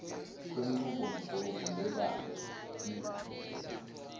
kwenchubomgomo lebanti b